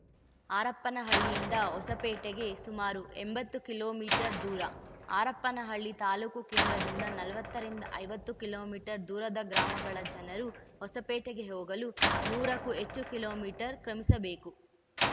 ಹರಪನಹಳ್ಳಿಯಿಂದ ಹೊಸಪೇಟೆಗೆ ಸುಮಾರು ಎಂಬತ್ತು ಕಿಲೋ ಮೀಟರ್ ದೂರ ಹರಪನಹಳ್ಳಿ ತಾಲೂಕು ಕೇಂದ್ರದಿಂದ ನಲವತ್ತರಿಂದ ಐವತ್ತು ಕಿಲೋ ಮೀಟರ್ ದೂರದ ಗ್ರಾಮಗಳ ಜನರು ಹೊಸಪೇಟೆಗೆ ಹೋಗಲು ನೂರಕ್ಕೂ ಹೆಚ್ಚು ಕಿಲೋ ಮೀಟರ್ ಕ್ರಮಿಸಬೇಕು